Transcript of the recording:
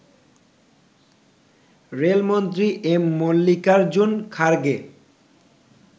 রেলমন্ত্রী এম মল্লিকারজুন খারগে